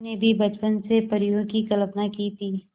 मैंने भी बचपन से परियों की कल्पना की थी